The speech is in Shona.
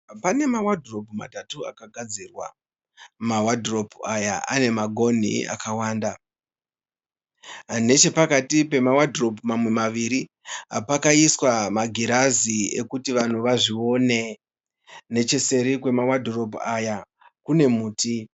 Pane mawadhiropu matatu akagadzirwa. Mawadhiropu aya ane magonhi akawanda. Nechepakati pemawandiropu mamwe maviri pakaiswa magirazi ekuti vanhu vazvione. Necheseri kwemawadhiropu aya kune muti.